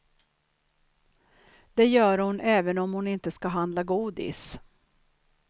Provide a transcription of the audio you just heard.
Det gör hon även om hon inte ska handla godis.